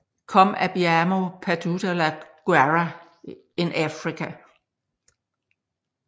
Come abbiamo perduto la guerra in Africa